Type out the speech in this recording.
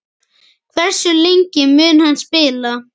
Hversu lengi mun hann spila?